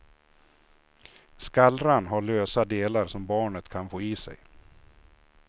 Skallran har lösa delar som barnet kan få i sig.